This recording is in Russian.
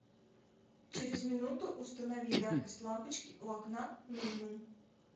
через минуту установи яркость лампочки у окна минимум